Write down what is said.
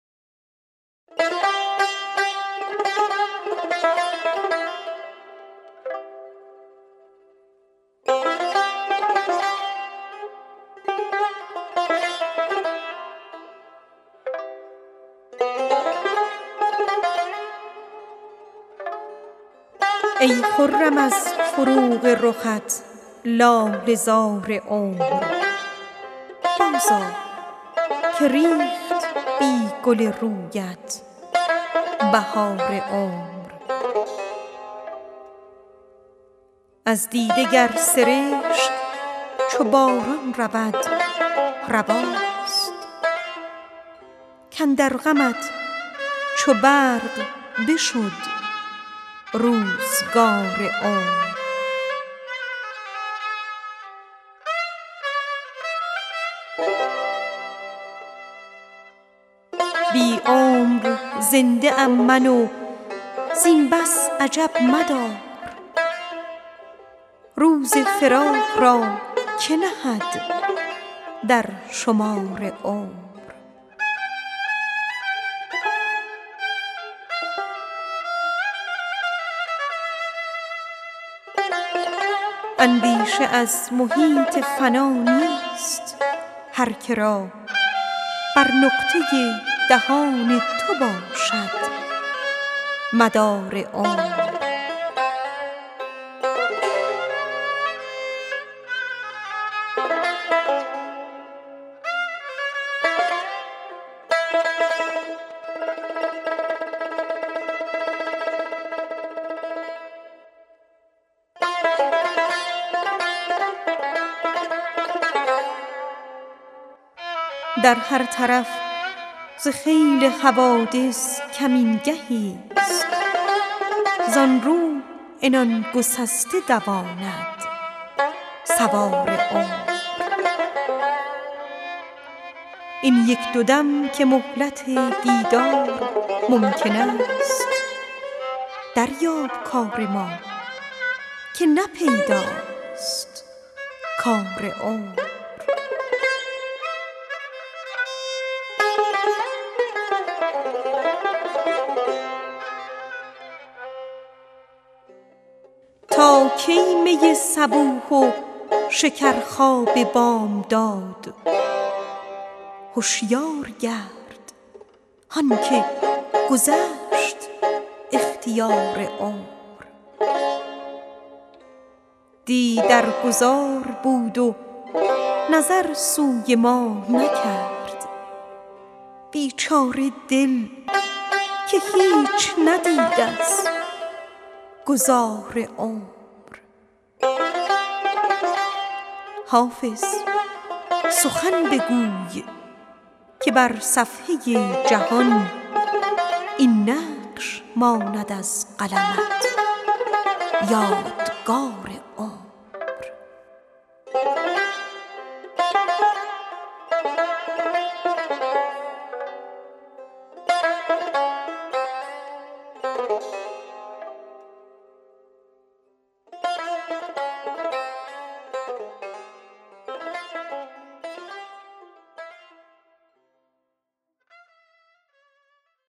ای خرم از فروغ رخت لاله زار عمر بازآ که ریخت بی گل رویت بهار عمر از دیده گر سرشک چو باران چکد رواست کاندر غمت چو برق بشد روزگار عمر این یک دو دم که مهلت دیدار ممکن است دریاب کار ما که نه پیداست کار عمر تا کی می صبوح و شکرخواب بامداد هشیار گرد هان که گذشت اختیار عمر دی در گذار بود و نظر سوی ما نکرد بیچاره دل که هیچ ندید از گذار عمر اندیشه از محیط فنا نیست هر که را بر نقطه دهان تو باشد مدار عمر در هر طرف ز خیل حوادث کمین گهیست زان رو عنان گسسته دواند سوار عمر بی عمر زنده ام من و این بس عجب مدار روز فراق را که نهد در شمار عمر حافظ سخن بگوی که بر صفحه جهان این نقش ماند از قلمت یادگار عمر